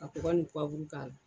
Ka kɔgɔ nin k'ala.